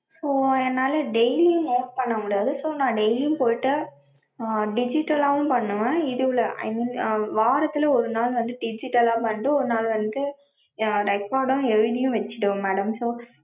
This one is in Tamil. so என்னால daily note பண்ண முடியாது so நா daily யும் போயிட்டு, digital லாவும் பண்ணுவேன் இதுல i mean வாரத்துல ஒரு நாள் வந்து digital லா வந்து ஒரு நாள் வந்து record ம் எழுதியும் வச்சிடுவேன் madam